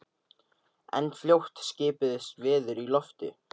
En fljótt skipuðust veður í lofti.